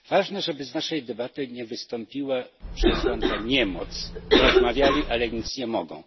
Ważne, żeby z naszej debaty nie wystąpiła przesłanka niemocy rozmawiali, ale nic nie mogą.